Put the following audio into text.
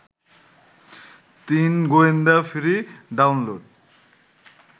তিন গোয়েন্দা free download